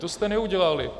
To jste neudělali.